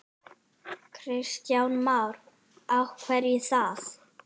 Kristján Már: Af hverju það?